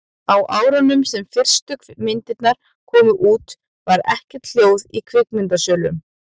á árunum sem fyrstu myndirnar komu út var ekkert hljóð í kvikmyndasölunum